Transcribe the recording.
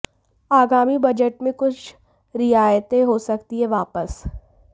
आगामी बजट में कुछ रियायतें हो सकती हैं वापस